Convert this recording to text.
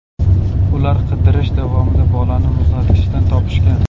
Ular qidirirish davomida bolani muzlatkichdan topishgan.